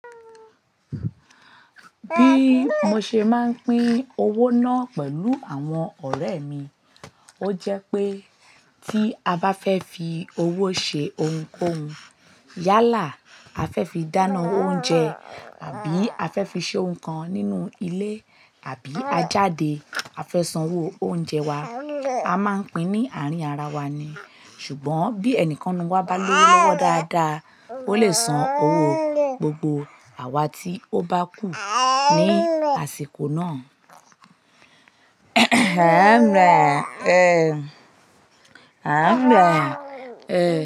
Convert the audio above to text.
Bí mo ṣe máa ń pín owó náà pẹ̀lú àwọn ọ̀rẹ́ mi, ó jẹ́ pé tí a bá fẹ́ fi owó ṣe o nkóhun yálà a fẹ́ fi dáná oúnjẹ àbí a fẹ́ fi ṣe o n kan nínú ilé àbí a jáde a fẹ́ san owó oúnjẹ wa, a máa ń pín ní àárín ara wá ni. Ṣùgbọ́n bí ẹnìkan nu wa bá lówó lọ́wọ́ dáadáa, ó lè san owó gbogbo àwa tí ó bá kù ní àsìkò náà.